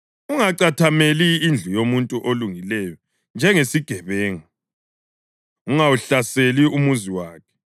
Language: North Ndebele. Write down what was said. Ungacathameli indlu yomuntu olungileyo njengesigebenga, ungawuhlaseli umuzi wakhe;